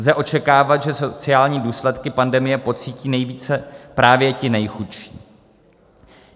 Lze očekávat, že sociální důsledky pandemie pocítí nejvíce právě ti nejchudší.